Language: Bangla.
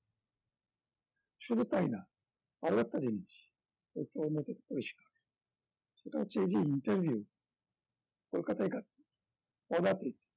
শুধু তাই না আরো একটা জিনিস তথ্য নথি ভুক্ত করেছিলাম সেটা হচ্ছে এই যে interview কলকাতায় একা পদাতিক